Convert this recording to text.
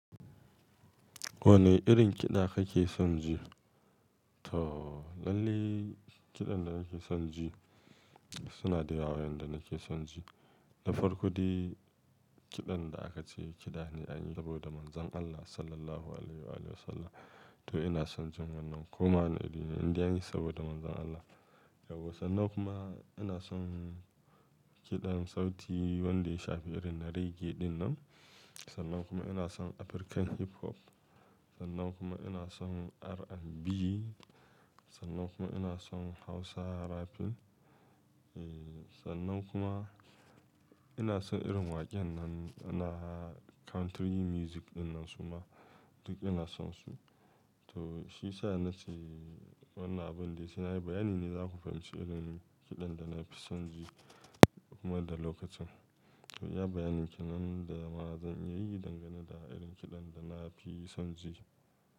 Wane irin kiɗa kake son ji? To, lalle kiɗan da nake son ji suna da yawa yanda nake son ji. Da farko dai kiɗan da aka ce kiɗa ne an yi saboda Manzon Allah Sallallahu Alaihi Alehi Wasallam. To ina son jin wannan kuma wane irine indai an yi saboda Manzon Allah. Yau sannan kuma ina son kiɗan sauti wanda ya shafi irin reggae dinnan. Sannan kuma ina son African hip hop. Sannan kuma ina son RnB. Sannan kuma ina son Hausa rapping. Eeh, sannan kuma ina son irin waƙen nan na country music dinnan su ma duk ina son su. To shiyasa na ce wannan abun dai sai nayi bayani ne za ku fahimci irin kiɗan da na fi son ji man da lokacin. Iya bayanin kenan da ma zan iya yi dangane da irin kiɗan da na fi son ji.